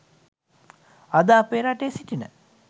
අද අපේ රටේ සිටින